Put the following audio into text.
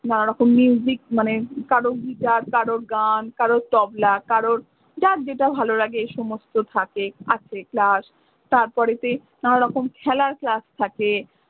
নানারকম মানে কারোর guitar কারোর গান, কারোর তবলা কারোর, যার যেটা ভালো লাগে সেই সমস্ত থাকে class তারপরে তে নানা রকম খেলার class থাকে।